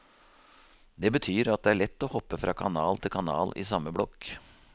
Det betyr at det er lett å hoppe fra kanal til kanal i samme blokk.